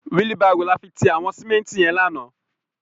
Wili bàró làfi ti àwòn simènti yèn làná